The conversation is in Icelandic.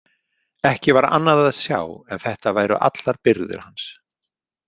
Ekki var annað að sjá en þetta væru allar birgðir hans.